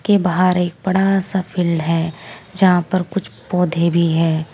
के बाहर एक बड़ा सा फील्ड है जहां पर कुछ पौधे भी हैं।